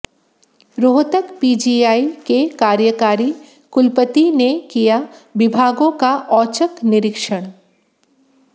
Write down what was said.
Rohtak PGI के कार्यकारी कुलपति ने किया विभागों का औचक निरीक्षण